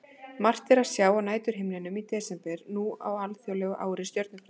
Margt er að sjá á næturhimninum í desember á alþjóðlegu ári stjörnufræðinnar.